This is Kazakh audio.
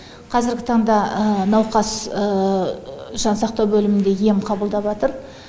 қазіргі таңда науқас жансақтау бөлімінде ем қабылдаватыр